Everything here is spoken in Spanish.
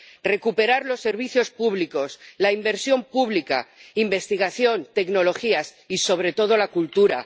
que se recuperen los servicios públicos, la inversión pública, la investigación, las tecnologías y, sobre todo, la cultura.